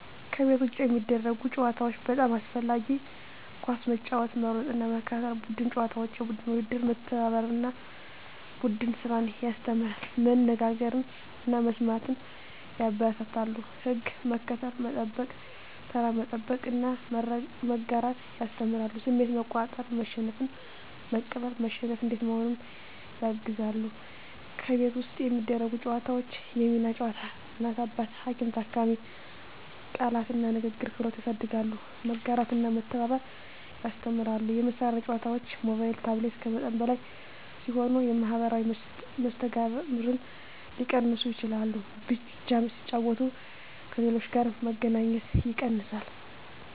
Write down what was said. ከቤት ውጭ የሚደረጉ ጨዋታዎች (በጣም አስፈላጊ) ኳስ መጫወት መሮጥና መከታተል ቡድን ጨዋታዎች (የቡድን ውድድር) መተባበርን እና ቡድን ስራን ያስተምራሉ መነጋገርን እና መስማትን ያበረታታሉ ሕግ መከተል፣ መጠበቅ (ተራ መጠበቅ) እና መጋራት ያስተምራሉ ስሜት መቆጣጠር (መሸነፍን መቀበል፣ መሸነፍ እንዴት መሆኑን) ያግዛሉ ከቤት ውስጥ የሚደረጉ ጨዋታዎች የሚና ጨዋታ (እናት–አባት፣ ሐኪም–ታካሚ) ቃላት እና ንግግር ክህሎት ያሳድጋሉ መጋራትና መተባበር ያስተምራሉ የመሳሪያ ጨዋታዎች (ሞባይል/ታብሌት) ከመጠን በላይ ሲሆኑ የማኅበራዊ መስተጋብርን ሊቀንሱ ይችላሉ በብቻ ሲጫወቱ ከሌሎች ጋር መገናኘት ይቀንሳል